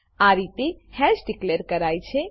આ રીતે hash declare કરાય છે